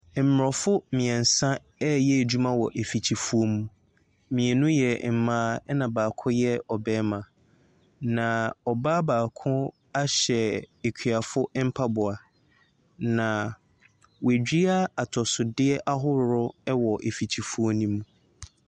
Mmorɔfo mmiɛnsa ɛreyɛ adwuma wɔ afikyifuo mu. Mmienu yɛ mmaa na baako yɛ ɔbarima. Na ɔbaa baako ahyɛ akuafo mpaboa. Na wɔadua atosodeɛ ahoroɔ wɔ afikyifuo mu.